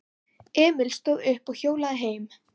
Emil stóð upp og hjólaði heim.